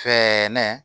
Fɛɛrɛ